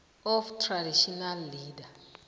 of traditional leaders